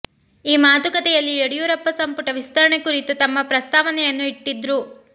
ಈ ಮಾತುಕತೆಯಲ್ಲಿ ಯಡಿಯೂರಪ್ಪ ಸಂಪುಟ ವಿಸ್ತರಣೆ ಕುರಿತು ತಮ್ಮ ಪ್ರಸ್ತಾವನೆಯನ್ನು ಇಟ್ಟಿದ್ರು